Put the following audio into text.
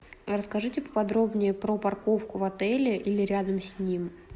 расскажите поподробнее про парковку в отеле или рядом с ним